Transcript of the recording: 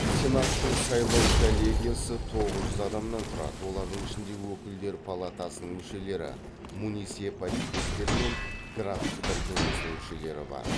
сенаттың сайлау коллегиясы тоғыз жүз адамнан тұрады олардың ішінде өкілдер палатасының мүшелері муниципалитеттер мен графтықтар кеңесінің мүшелері бар